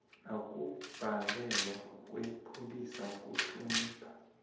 ukubhalelwa kwepholisa kuhlonipha